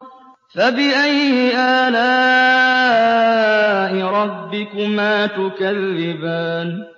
فَبِأَيِّ آلَاءِ رَبِّكُمَا تُكَذِّبَانِ